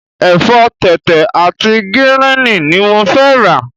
Ẹ̀fọ́ tẹ̀tẹ̀ àti gíríìnì ni mo fẹ́ rà.